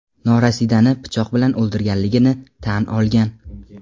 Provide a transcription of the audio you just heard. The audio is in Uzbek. norasidani pichoq bilan o‘ldirganligini tan olgan.